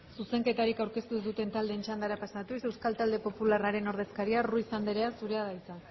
zuzenketarik aurkeztu ez duten taldeen txandara pasatuz euskal talde popularraren ordezkaria ruiz anderea zurea da hitza